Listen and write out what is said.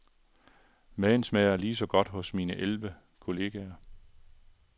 Maden smager ligeså godt hos mine elleve kolleger.